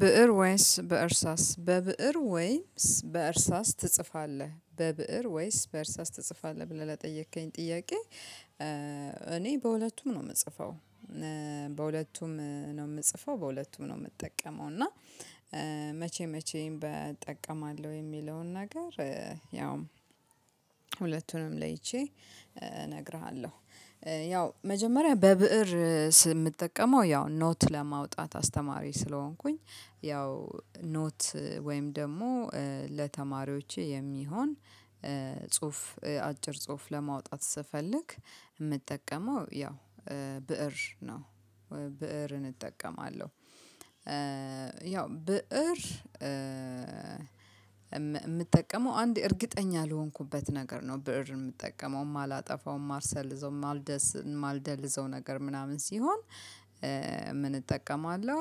ብእር ወይስ በእርሳስ በብእር ወይስ በእርሳስ ትጽፋለህ በብእር ወይስ በእርሳስ ትጽፋለህ ብለህ ለጠየከኝ ጥያቄ? እኔ በሁለቱም ነው የምጽፈው በሁለቱም ነው የምጽፈው በሁለቱም ነው የምጠቀመው። እና መቼ መቼም በ እጠቀማለሁ የሚለውን ነገር ያውም ሁለቱንም ለይቼ እነግርሃለሁ። ያው መጀመሪያ በብእር ስ ምጠቀመው ያው ኖት ለማውጣት አስተማሪ ስለሆንኩኝ ያው ኖት ወይም ደግሞ ለተማሪዎቼ የሚሆን ጽሁፍ አጭር ጽሁፍ ለማውጣት ስፈልግ ምጠቀመው ያው ብእር ነው ብእርን እጠቀማለሁ። ያው ብእር የምጠቀመው አንድ እርግጠኛ ለሆንኩበት ነገር ነው ብእር የምጠቀመው የማላጠፋው የማርሰል ልዘው ማልደልዘው ነገር ምናምን ሲሆን ምን እጠቀማለሁ?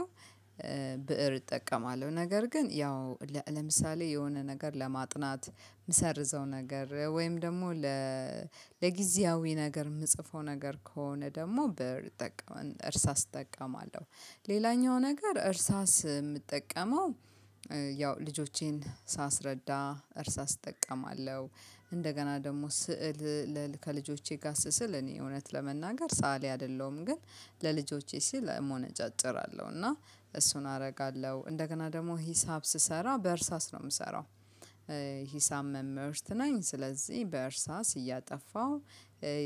ብእር እጠቀማለሁ ነገር ግን ያው ለምሳሌ የሆነ ነገር ለማጥናት ምሰርዘው ነገር ወይም ደግሞ ለጊዜያዊ ነገር የምጽፈው ነገር ከሆነ ደግሞ ብእር እርሳስ እጠቀማለሁ። ሌላኛው ነገር እርሳስ የምጠቀመው ያው ልጆቼን ሳስረዳ እርሳስ አስጠቀማለሁ። እንደገና ደግሞ ስዕል ለል ከልጆቼ ጋስ ስል እኔ እውነት ለመናገር ሰአሊ አይደለሁም። ግን ለልጆቼ ሲል እሞነጫጭራለሁ እና እሱን አደርጋለሁ እንደገና ደግሞ ሂሳብ ስሰራ በእርሳስ ነው የምሰራው። ሂሳብ መምህርት ነኝ ስለዚህ በእርሳስ እያጠፋሁ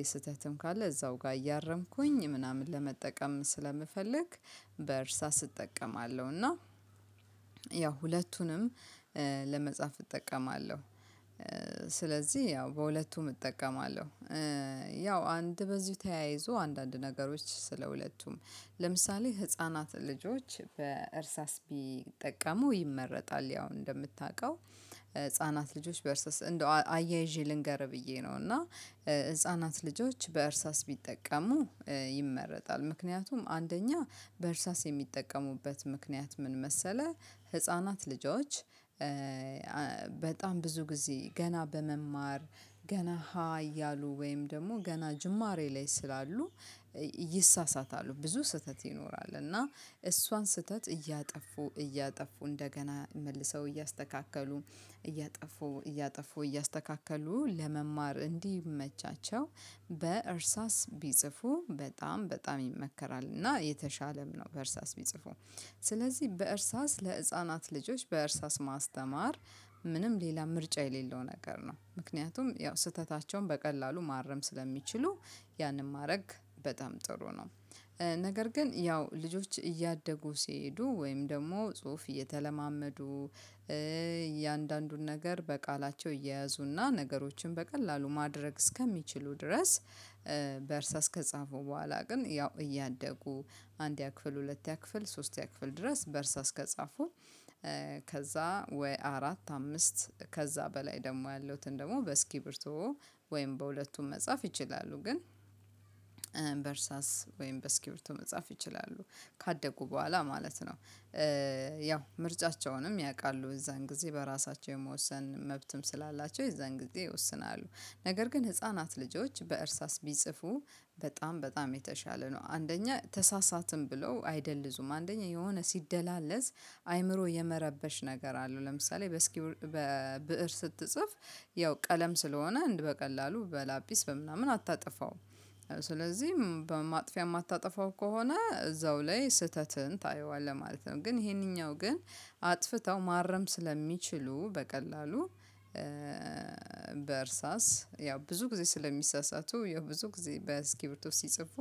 ስህተትም ካለ እዛው ጋር እያረምኩኝ ምናምን ለመጠቀም ስለምፈልግ በእርሳስ እጠቀማለሁ እና ያው ሁለቱንም ለመጻፍ እጠቀማለሁ። ስለዚህ ያው በሁለቱም እጠቀማለሁ ያው አንድ በዚህ ተያይዞ አንዳንድ ነገሮች ስለ ሁለቱም ለምሳሌ ህፃናት ልጆች በእርሳስ ቢጠቀሙ ይመረጣል። ያው እንደምታውቀው ህፃናት ልጆች በእርሳስ እንደው አያይዤ ልንገርህ ብዬ ነው እና ህፃናት ልጆች በእርሳስ ቢጠቀሙ ይመረጣል። ምክንያቱም አንደኛ በእርሳስ የሚጠቀሙበት ምክንያት ምን መሰለህ ህፃናት ልጆች? በጣም ብዙ ጊዜ ገና በመማር ገና ሀ እያሉ ወይም ደግሞ ገና ጅማሬ ላይ ስላሉ ይሳሳታሉ ብዙ ስህተት ይኖራል እና እሷን ስህተት እያጠፉ እያጠፉ እንደገና መልሰው እያስተካከሉ እያጠፉ እያጠፉ እያስተካከሉ ለመማር እንዲመቻቸው በእርሳስ ቢጽፉ በጣም በጣም ይመከራል እና የተሻለም ነው። በእርሳስ የሚጽፉም ስለዚህ በእርሳስ ለህፃናት ልጆች በእርሳስ ማስተማር ምንም ሌላ ምርጫ የሌለው ነገር ነው። ምክንያቱም ያው ስህተታቸውን በቀላሉ ማረም ስለሚችሉ ያንን ማድረግ በጣም ጥሩ ነው። ነገር ግን ያው ልጆች እያደጉ ሲሄዱ ወይም ደግሞ ጽሁፍ እየተለማመዱ እያንዳንዱን ነገር በቃላቸው እየያዙና ነገሮችን በቀላሉ ማድረግ እስከሚችሉ ድረስ። በእርሳስ ከጻፉ በኋላ ግን ያው እያደጉ አንድያ ክፍል ሁለትያ ክፍል ሶስትያ ክፍል ድረስ በእርሳ እስከጻፉ። ከዛ ወይ አራት አምስት ከዛ በላይ ደግሞ ያለውን ደግሞ በእስኪብርቶ ወይም በሁለቱም መጻፍ ይችላሉ። ግን በርሳስ ወይም በእስኪፒቶ መጻፍ ይችላሉ ካደጉ በኋላ ማለት ነው። ያው ምርጫቸውንም ያውቃሉ እዛን ጊዜ በራሳቸው የመወሰን መብትም ስላላቸው እዛን ጊዜ ይወስናሉ። ነገር ግን ህፃናት ልጆች በእርሳስ ቢጽፉ በጣም በጣም የተሻለ ነው። አንደኛ ተሳሳትን ብለው አይደልዙም አንደኛ የሆነ ሲደላለዝ አይምሮ የመረበሽ ነገር አለው ለምሳሌ በእስኪውር በብእር ስትጽፍ ያው ቀለም ስለሆነ አንድ በቀላሉ በላጲስ በምናምን አታጠፋውም። ስለዚህ በማጥፊያ የማታጠፋው ከሆነ እዛው ላይ ስህተትን ታየዋለህ ማለት ነው። ግን ይሄንኛው ግን አጥፍተው ማረም ስለሚችሉ በቀላሉ። በእርሳስ ያው ብዙ ጊዜ ስለሚሳሳቱ ያው ብዙ ጊዜ በእስኪፕቶ ሲጽፉ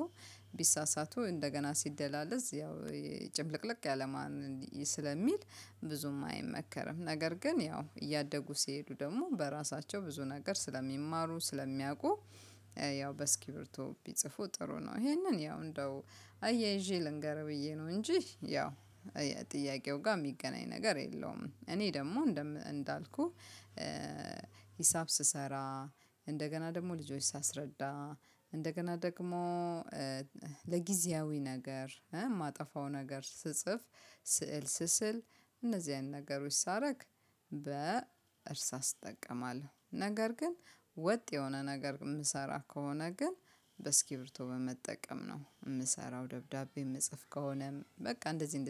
ቢሳሳቱ እንደገና ሲደላለዝ ያው ያው ጭምልቅልቅ ያለማን ስለሚል ብዙም አይመከርም። ነገር ግን ያው እያደጉ ሲሄዱ ደግሞ በራሳቸው ብዙ ነገር ስለሚማሩ ስለሚያውቁ። ያው በእስኪርቢቶ ቢጽፉ ጥሩ ነው። ይሄንን ያው እንደው አያይዤ ልንገርህ ብዬ ነው። እንጂ ያው ጥያቄው ጋር የሚገናኝ ነገር የለውም። እኔ ደግሞ እንዳልኩህ ሂሳብ ስሰራ እንደገና ደግሞ ልጆች ሳስረዳ እንደገና ደግሞ ለጊዜያዊ ነገር የማጠፋው ነገር ስጽፍ ስዕል ስስል እነዚህ አይነት ነገሮች ሳረግ በእርሳስ እጠቀማለሁ። ነገር ግን ወጥ የሆነ ነገር የምሰራ ከሆነ ግን በእስኪ ርብቶ በመጠቀም ነው የምሰራው። ደብዳቤ የምጽፍ ከሆነ በቃ እንደዚህ እንደዚህ